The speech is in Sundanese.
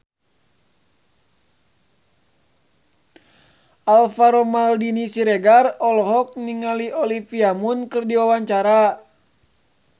Alvaro Maldini Siregar olohok ningali Olivia Munn keur diwawancara